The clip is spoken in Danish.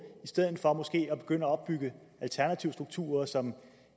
i stedet for måske at begynde at opbygge alternative strukturer som